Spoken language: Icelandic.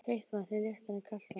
Heitt vatn er léttara en kalt vatn.